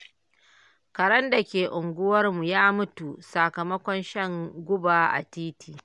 Karen da ke unguwarmu ya mutu sakamakon shan guba a titi.